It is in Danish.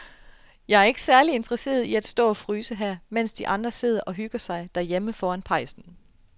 Jeg er ikke særlig interesseret i at stå og fryse her, mens de andre sidder og hygger sig derhjemme foran pejsen.